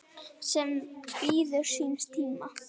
sem bíður síns tíma